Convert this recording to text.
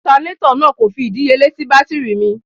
Ọtanátọ̀ náà kò fi ìdíyelé sì bátírì mi.